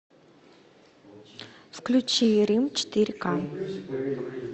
включи рим четыре к